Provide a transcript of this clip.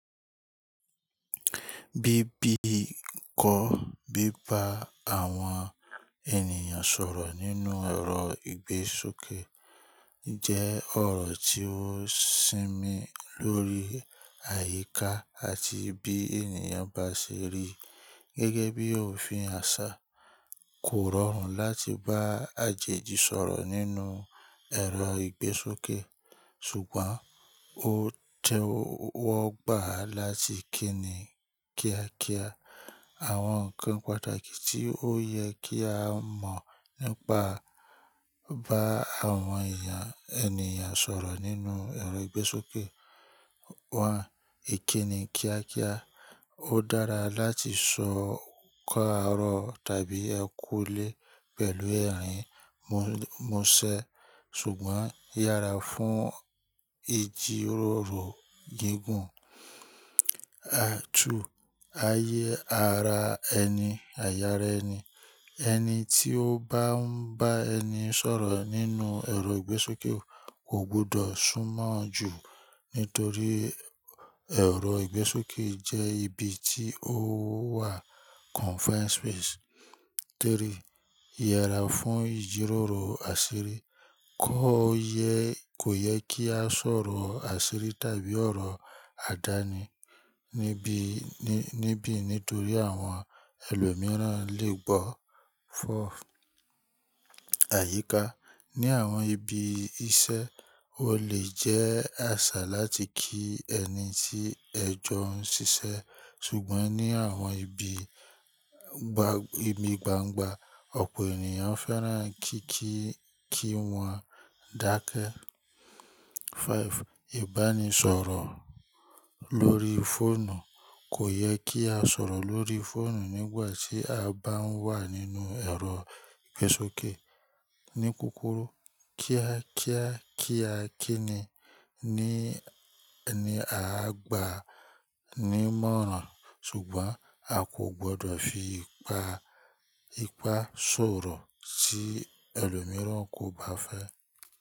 Bíbí kọ́ bíbá àwọn ènìyàn sọ̀rọ̀ nínú ẹ̀rọ ìgbésókè jẹ́ ọ̀rọ̀ tí ó sinmi lórí àyíká àti bí ènìyàn bá ṣe rí. Gẹ́gẹ́ bí òfin àṣà, kò rọrùn láti bá àjèjì sọ̀rọ̀ nínú ẹ̀rọ ìgbésókè, ṣùgbọ́n ó tẹ́wọ́gbà láti kíni kíákíá. Àwọn nǹkan pàtàkì tí ó yẹ kí a mọ̀ nípa bá àwọn eyan ènìyàn sọ̀rọ̀ nínú ẹ̀rọ ìgbésókè wọ́n. Èkínni kíákíá. Ó dára láti sọ òǹkà ọ̀rọ̀ tàbí ẹ kúú lé pẹ̀lú ẹ̀rín mú-múṣẹ ṣùgbọ́n yára fún ìjíròrò gígùn. Àtú. Ayé ara ẹni, àyà rẹ ni. E Ẹni tí ó bá ń bá ẹni sọ̀rọ̀ nínú ẹ̀rọ ìgbésókè kò gbọdọ̀ súnmọ́ ọn ju nítorí ẹ̀rọ ìgbésókè jẹ́ ibi tí ó wà confined space. Tẹ́rí. Yera fún ìjíròrò àṣírí. Kò yẹ kò yẹ kí á sọ̀rọ̀ àṣírí tàbí ọ̀rọ̀ àdáni níbí ní-níbí nítorí àwọn ẹlòmíràn lè gbọ́. Fọ́f. Àyíká. Ni àwọn ibi iṣẹ́, ó lè jẹ́ àṣà láti kí ẹni tí ẹ jọ ń ṣiṣẹ́ ṣùgbọ́n ní àwọn ibi gba-ìmi gbangba, ọ̀pọ̀ ènìyàn fẹ́ràn kí kí-kí wọ́n dákẹ́. Fáìf. Ìbánisọ̀rọ̀ lórí fóònù kò yẹ kí á sọ̀rọ̀ lórí fóònù nígbà tí a bá ń wà nínú ẹ̀rọ ìgbésókè. Ní kúrúkù, kíákíá kíákíni ní ẹni a gbà á ní mọ́rán ṣùgbọ́n a kò gbọdọ̀ fi ipa-ipá sọ̀rọ̀ si ẹlòmíràn kò bá fẹ́